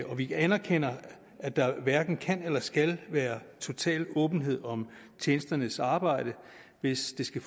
og vi anerkender at der hverken kan eller skal være total åbenhed om tjenesternes arbejde hvis det skal